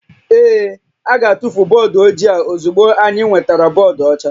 Ee, a ga-atụfu bọọdụ ojii a ozugbo anyị nwetara bọọdụ ọcha